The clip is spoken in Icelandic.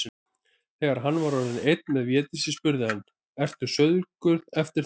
Þegar hann var orðinn einn með Védísi spurði hann:-Ertu saurguð eftir þá.